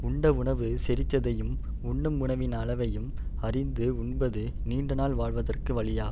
உண்ட உணவு செரித்ததையும் உண்ணும் உணவின் அளவையும் அறிந்து உண்பது நீண்ட நாள் வாழ்வதற்கு வழியாகும்